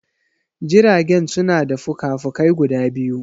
Jirage suna da fuka fukai guda biyu